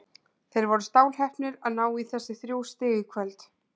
Þeir voru stálheppnir að ná í þessi þrjú stig í kvöld.